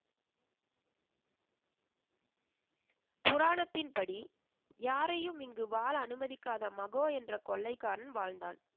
புராணத்தின் படி, யாரையும் இங்கு வாழ அனுமதிக்காத மகோ என்ற கொள்ளைக்காரன் வாழ்ந்தான்.